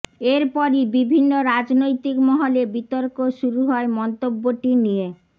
এরপরই বিভিন্ন রাজনৈতিক মহলে বিতর্ক শুরু হয় মন্তব্যটি নিয়ে